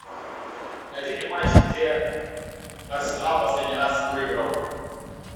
найди мне матч где арсенал последний раз выиграл